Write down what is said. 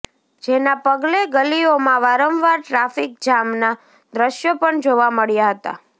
જેના પગલે ગલીઓમાં વારંવાર ટ્રાફિક જામના દ્રશ્યો પણ જોવા મળ્યા હતા